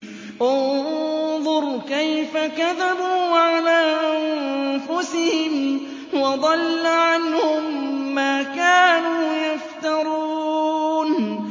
انظُرْ كَيْفَ كَذَبُوا عَلَىٰ أَنفُسِهِمْ ۚ وَضَلَّ عَنْهُم مَّا كَانُوا يَفْتَرُونَ